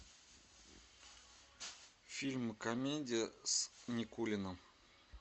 фильм комедия с никулиным